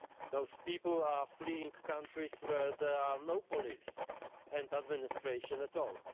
Those people are fleeing countries where there is no police and no administration at all.